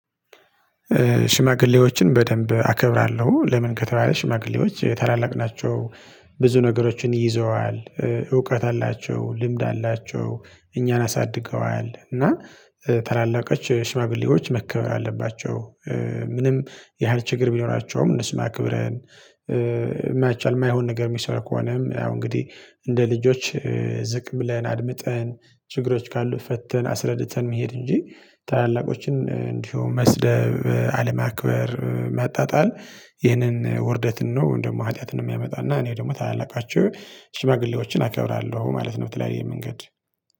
ሽማግሌዎችን በደንብ አከብራለሁ ለምን ከተባለ ሽማግሌዎች ታላላቅ ናቸው። ብዙ ነገሮችን ይዘዋል። እውቀት አላቸው ልምድ አላቸው እኛን አሳድገዋል እና ታላላቆች ሽማግሌዎች መከበር አለባቸው። ምንም ያህል ችግር ቢሆናቸውም እንስማ ክብረን። የማያቻልም የማይሆን ነገር የሚሰራ ከሆነም አሁን እንግዲህ እንደ ልጆች ዝቅ ብለን አድምጠን ችግሮች ካሉ ፈተን አስረድተን መሄድ እንጂ ታላላቆችን እንዲሁም መስደብ አለማክበር ማጣጣል። ይህንን ውርደትን ነው እንደውም ሀጢያትን የሚያመጣና እኔ ደግሞ ታላላቃቸው ሽማግሌዎችን አከብራለሁ ማለት ነው። በተለያየ መንገድ